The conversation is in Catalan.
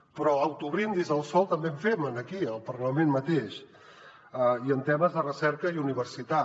però d’autobrindis al sol també en fem aquí al parlament mateix i en temes de recerca i universitat